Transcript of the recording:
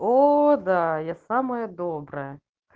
о да я самая добрая